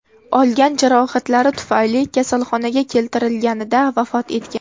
olgan jarohatlari tufayli kasalxonaga keltirilganida vafot etgan.